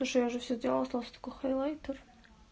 слушай я уже всё сделала осталось только хайлайтер